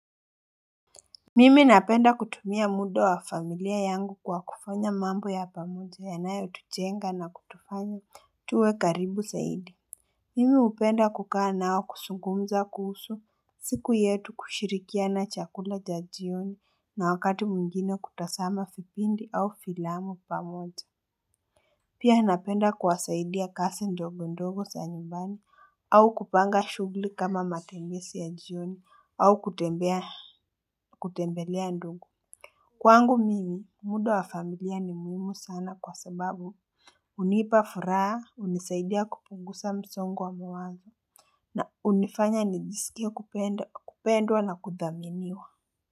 Mimi napenda kutumia muda wa familia yangu kwa kufanya mambo ya pamoja yanayotujenga na kutufanya tuwe karibu zaidi Mimi hupenda kukaa nao kuzungumza kuhusu siku yetu kushirikiana chakula cha jioni na wakati mwingine kutazama vipindi au filamu pamoja Pia napenda kuwasaidia kazi ndogo ndogo za nyumbani au kupanga shughuli kama matembezi ya jioni au kutembelea ndugu, kwangu mimi muda wa familia ni muhimu sana kwa sababu hunipa furaha, hunisaidia kupunguza msongo wa mawazo na hunifanya nijisikie kupendwa na kudhaminiwa.